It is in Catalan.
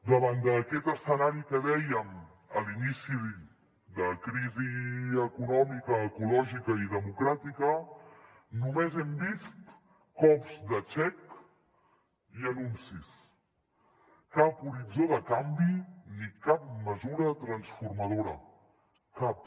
davant d’aquest escenari que dèiem a l’inici de crisi econòmica ecològica i democràtica només hem vist cops de xec i anuncis cap horitzó de canvi ni cap mesura transformadora cap